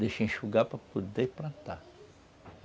Deixa enxugar para poder plantar.